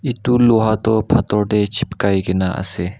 etu loha toh pathor te chipkai kena ase.